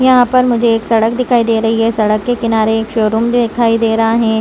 यहाँ में मुझे एक सड़क दिखाई दे रही है सड़क के किनारे एक शो रूम दिखाई दे रहा है।